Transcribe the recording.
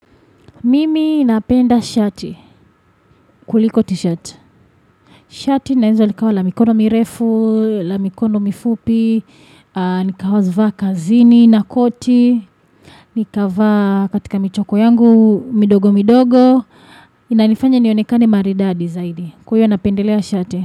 Mimi napenda shati kuliko t-shirt. Shati linaweza likawa la mikono mirefu, la mikono mifupi, nikawa zivaa kazini na koti. Nikavaa katika michoko yangu midogo midogo. Inanifanya nionekane maridadi zaidi kwa hiyo napendelea shati.